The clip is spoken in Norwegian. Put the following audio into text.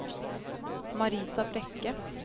Marita Brekke